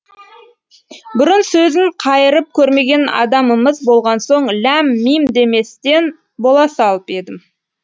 бұрын сөзін қайырып көрмеген адамымыз болған соң ләм мим деместен бола салып едім